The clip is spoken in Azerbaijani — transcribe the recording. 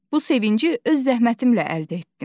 Bu sevinci öz zəhmətimlə əldə etdim.